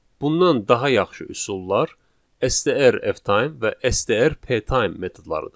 Bundan daha yaxşı üsullar STRFtime və STRPtime metodlarıdır.